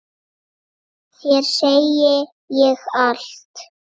Þér segi ég allt.